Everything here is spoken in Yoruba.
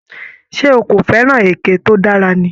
Ṣé o kò fẹ́ràn èké tó dára ni?